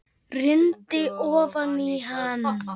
Rýndi ofan í hann.